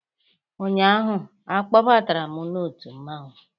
Ụnyaahụ, a kpọbatara m n'otu mmanwụ